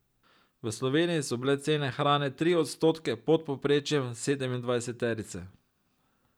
V Sloveniji so bile cene hrane tri odstotke pod povprečjem sedemindvajseterice.